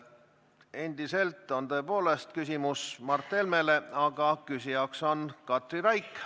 Endiselt on küsimus Mart Helmele, aga küsija on Katri Raik.